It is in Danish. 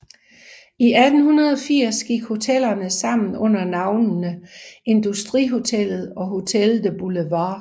I 1880 gik hotellerne sammen under navnene Industrihotellet og Hotel de Boulevard